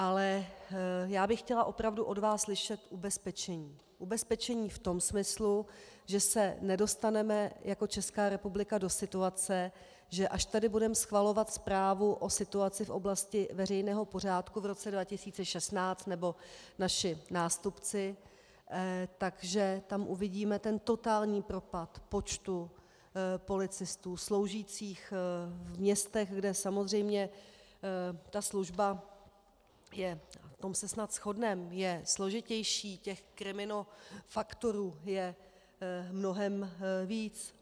Ale já bych chtěla opravdu od vás slyšet ubezpečení, ubezpečení v tom smyslu, že se nedostaneme jako Česká republika do situace, že až tady budeme schvalovat zprávu o situaci v oblasti veřejného pořádku v roce 2016, nebo naši nástupci, tak že tam uvidíme ten totální propad počtu policistů sloužících v městech, kde samozřejmě ta služba je, v tom se snad shodneme, složitější, těch kriminofaktorů je mnohem víc.